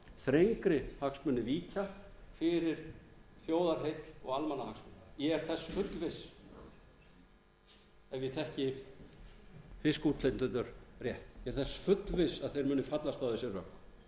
þrengri hagsmuni víkja fyrir þjóðarheill og almannahagsmunum ég er þess fullviss ef ég þekki fiskútflytjendur rétt ég er þess fullviss að eir munu fallast á þessi rök